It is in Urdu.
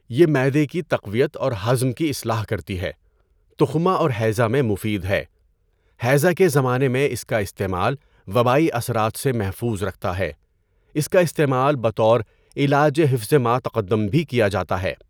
یہ معدہ کی تقویت اور ہضم کی اصلاح کرتی ہے۔ تخمہ اور ہیضہ میں مفید ہے۔ ہیضہ کے زمانے میں اِس کا استعمال وبائی اثرات سے محفوظ رکھتا ہے۔ اس کا استعمال بطور علاج و حفظِ مَا تَقَدَّم بھی کیا جاتا ہے۔